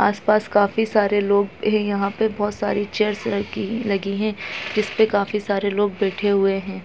आसपास काफी सारे लोग हैं यहाँ पे बहोत सारी चेयर्स लगी लगी हैं जिसपे काफी सारे लोग बेठे हुए हैं।